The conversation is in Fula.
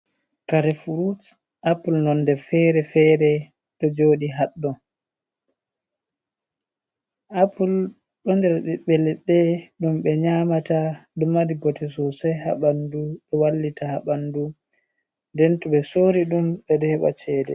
Kare fruts apple nonder fere-fere ɗo joɗi ha ɗo, apple ɗum ɓe nyamata ɗo mari bote sosai ha ɓandu, ɗo wallita ha ɓandu, den to ɓe sori ɗum ɓeɗo heba cede.